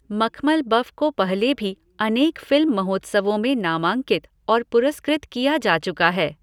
Makhmalbaf को पहले भी अनेक फ़िल्म महोत्सवों में नामांकित और पुरस्कृत किया जा चुका है।